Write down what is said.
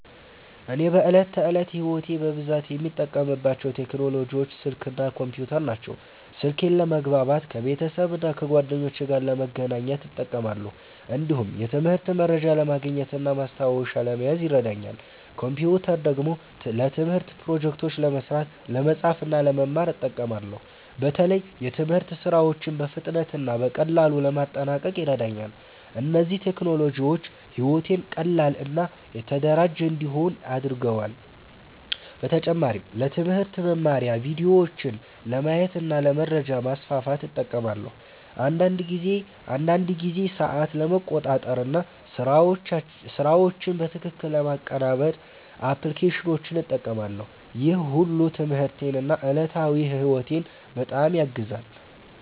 እኔ በዕለት ተዕለት ሕይወቴ በብዛት የምጠቀምባቸው ቴክኖሎጂዎች ስልክ እና ኮምፒውተር ናቸው። ስልኬን ለመግባባት ከቤተሰብና ከጓደኞቼ ጋር ለመገናኘት እጠቀማለሁ። እንዲሁም የትምህርት መረጃ ለማግኘት እና ማስታወሻ ለመያዝ ይረዳኛል። ኮምፒውተር ደግሞ ለትምህርት ፕሮጀክቶች ለመስራት፣ ለመጻፍ እና ለመማር እጠቀማለሁ። በተለይ የትምህርት ሥራዎችን በፍጥነት እና በቀላሉ ለማጠናቀቅ ይረዳኛል። እነዚህ ቴክኖሎጂዎች ሕይወቴን ቀላል እና የተደራጀ እንዲሆን አድርገዋል። በተጨማሪም ለትምህርት መማሪያ ቪዲዮዎችን ለማየት እና ለመረጃ ማስፋፋት እጠቀማለሁ። አንዳንድ ጊዜ ሰዓት ለመቆጣጠር እና ስራዎችን በትክክል ለማቀናበር አፕሊኬሽኖችን እጠቀማለሁ። ይህ ሁሉ ትምህርቴን እና ዕለታዊ ሕይወቴን በጣም ያግዛል።